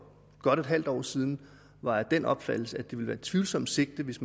godt et halvt år siden var af den opfattelse at det ville være et tvivlsomt sigte hvis